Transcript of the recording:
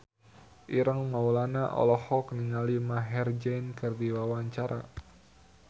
Ireng Maulana olohok ningali Maher Zein keur diwawancara